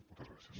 moltes gràcies